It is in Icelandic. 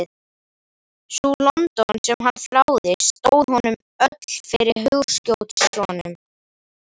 Sú London sem hann þráði stóð honum öll fyrir hugskotssjónum.